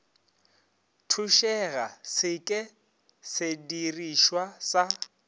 thušega se ke sedirišwa sa